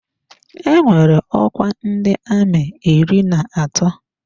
Enwere ọkwa ndị amị iri na atọ.